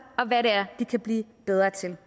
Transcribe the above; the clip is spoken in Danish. og hvad det er de kan blive bedre til